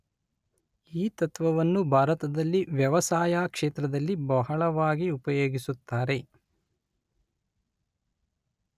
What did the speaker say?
ಈ ತತ್ತ್ವವನ್ನು ಭಾರತದಲ್ಲಿ ವ್ಯವಸಾಯ ಕ್ಷೇತ್ರದಲ್ಲಿ ಬಹಳವಾಗಿ ಉಪಯೋಗಿಸುತ್ತಾರೆ.